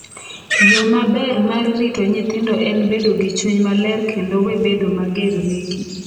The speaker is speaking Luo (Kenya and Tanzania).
yoo maber mar rito nyithindo en bedo gi chuny maler kendo we bedo mager negi…"